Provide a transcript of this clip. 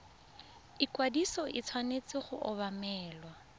ikwadiso e tshwanetse go obamelwa